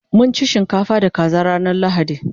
mun ci shinkafa da kaza ranar lahadi